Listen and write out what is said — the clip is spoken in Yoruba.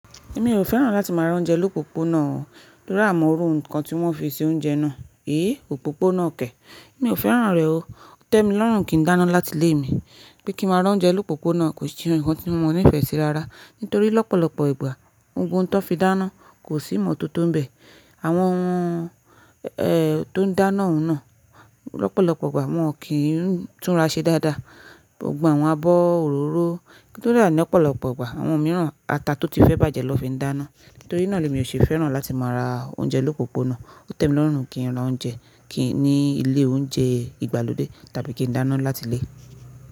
Èmi ò fẹ́ràn láti máa ra oúnjẹ lópópónà o, torí a ò mọ òru nǹkan tí wọ́n fi ṣe oúnjẹ náà. Èé o, òpópónà kè. Mi ò fẹ́ràn rẹ̀ o. Ó tẹ́ mi lọ́rùn kí n dáná láti ilé mi. Pé kí máa ra oúnjẹ lópópónà kò ṣe ohun kan tí mo nífẹ̀ẹ́ sí rárá. Nítorí lọ́pọ̀lọpọ̀ ìgbà ohun tó fi dáná kò sí ìmọ̀tótó bẹ̀. Àwọn eeh tó ń dáná oùn náà, lọ́pọ̀lọpọ̀ ìgbà wọn kì í túnra ṣe dáadáa. Gbogbo àwọn abọ́ òróró kódà ní ọ̀pọ̀lọpọ̀ ìgbà àwọn mìíràn ata tó ti fẹ́ bàjẹ́ lọ fi ń dáná. Nítorí náà lemi ò ṣe fẹ́ràn láti máa ra oúnjẹ lópópónà. Ó tẹ́ mi lọ́rùn kí n ra oúnjẹ kí í ní ilé oúnjẹ ìgbàlódé tàbí kí n dáná láti ilé.